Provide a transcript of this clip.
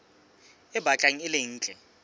e batlang e le ntle